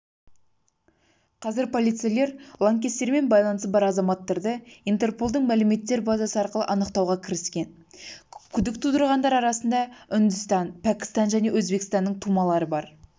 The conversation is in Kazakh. қазір полицейлер лаңкестермен байланысы бар азаматтарды интерполдың мәлімттер базасы арқылы анықтауға кіріскен күдік тудырғандар арасында үндістан пәкістан және өзбекстанның тумалары бар